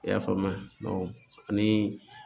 I y'a faamuya ani